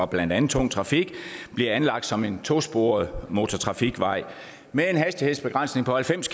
blandt andet tung trafik bliver anlagt som en tosporet motortrafikvej med en hastighedsbegrænsning på halvfems